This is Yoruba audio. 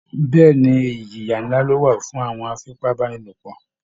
Bẹ́ẹ̀ ni, ìjìyà ńlá ló wà fún àwọn afipábánilòpọ̀